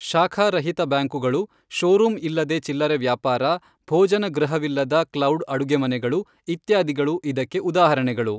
ಶಾಖಾರಹಿತ ಬ್ಯಾಂಕುಗಳು, ಶೋರೂಂ ಇಲ್ಲದೆ ಚಿಲ್ಲರೆ ವ್ಯಾಪಾರ, ಭೋಜನ ಗೃಹವಿಲ್ಲದ ಕ್ಲೌಡ್ ಅಡುಗೆಮನೆಗಳು, ಇತ್ಯಾದಿಗಳು ಇದಕ್ಕೆ ಉದಾಹರಣೆಗಳು.